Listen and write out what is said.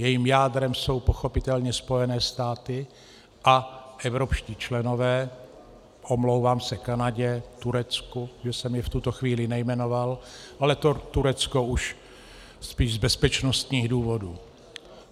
Jejím jádrem jsou pochopitelně Spojené státy a evropští členové - omlouvám se Kanadě, Turecku, že jsem je v tuto chvíli nejmenoval, ale to Turecko už spíš z bezpečnostních důvodů.